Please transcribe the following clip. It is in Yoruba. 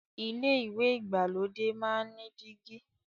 ilé ìwẹ̀ ìgbàlódé máa n ní dígí.